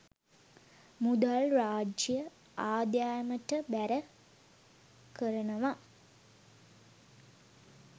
මුදල් රාජ්‍ය ආදායමට බැර කරනවා.